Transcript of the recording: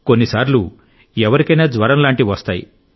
కొన్నిసార్లు ఎవరికైనా జ్వరం లాంటివి వస్తాయి